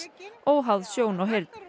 óháð sjón og heyrn